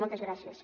moltes gràcies